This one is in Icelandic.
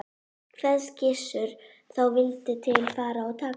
Kveðst Gissur þá vildu til fara og taka